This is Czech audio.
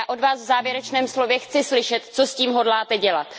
A já od Vás v závěrečném slově chci slyšet, co s tím hodláte dělat.